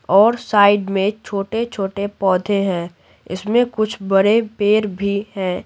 और साइड में छोटे-छोटे पौधे हैं इसमें कुछ बड़े पैर भी हैं।